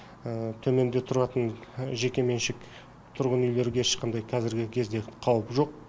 төменде тұратын жеке меншік тұрғын үйлерге ешқандай қазіргі кезде қауіп жоқ